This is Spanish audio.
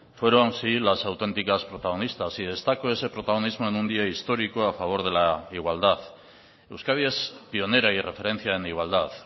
fueron sí las auténticas protagonistas y destaco ese protagonismo en un día histórico a favor de la igualdad euskadi es pionera y referencia en igualdad